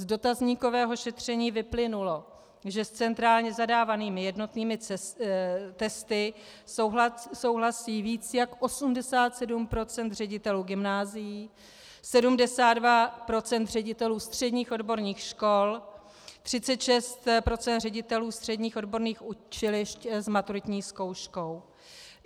Z dotazníkového šetření vyplynulo, že s centrálně zadávanými jednotnými testy souhlasí více jak 87 % ředitelů gymnázií, 72 % ředitelů středních odborných škol, 36 % ředitelů středních odborných učilišť s maturitní zkouškou.